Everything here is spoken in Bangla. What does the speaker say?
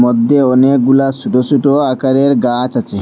মধ্যে অনেকগুলা সোটো সোটো আকারের গাছ আছে।